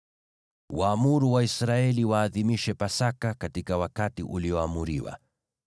“Waamuru Waisraeli waadhimishe Pasaka katika wakati ulioamriwa.